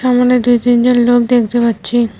এখানে দুই তিন জন লোক দেখতে পাচ্ছি।